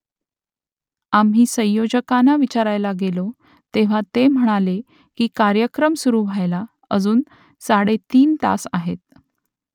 आम्ही संयोजकांना विचारायला गेलो तेव्हा ते म्हणाले की कार्यक्रम सुरू व्हायला अजून साडेतीन तास आहेत